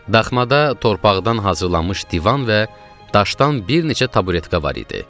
Daxmada torpaqdan hazırlanmış divan və daşdan bir neçə taburetka var idi.